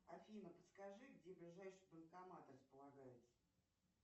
афина подскажи где ближайший банкомат располагается